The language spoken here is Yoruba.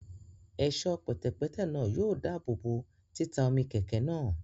Ẹ̀ṣọ́ pẹ̀tẹ̀pẹ́tẹ̀ náà yóò dáàbòbò títa omi kẹ̀kẹ́ náà